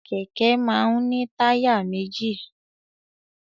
Kẹ̀kẹ́ máa ń ní táyà méjì.